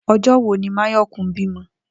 O̩jó̩ wo ni Máyò̩kún bímo̩?